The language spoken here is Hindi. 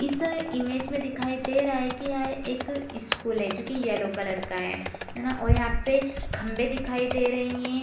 इस इमेज में दिखाई दे रहा है की यह एक स्कूल है जो की येलो कलर का है ना और यहाँ पे खम्भे दिखाई दे रही है।